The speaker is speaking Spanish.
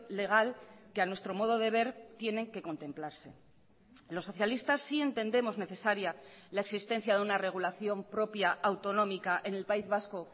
legal que a nuestro modo de ver tienen que contemplarse los socialistas sí entendemos necesaria la existencia de una regulación propia autonómica en el país vasco